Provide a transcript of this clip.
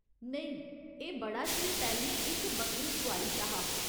नेईं, एह् बड़ा चिर पैह्‌लें इक बक्खरी सुआरी शा हा।